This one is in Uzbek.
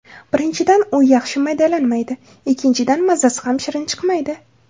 Birinchidan, u yaxshi maydalanmaydi, ikkinchidan mazasi ham shirin chiqmaydi.